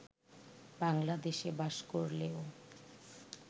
বাংলাদেশে বাস করলেও